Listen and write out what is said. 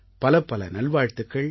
பலப்பல நல்வாழ்த்துக்கள்